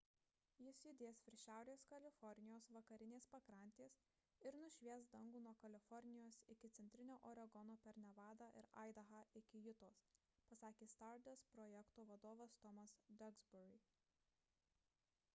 jis judės virš šiaurės kalifornijos vakarinės pakrantės ir nušvies dangų nuo kalifornijos iki centrinio oregono per nevadą ir aidahą iki jutos – pasakė stardust projekto vadovas tomas duxbury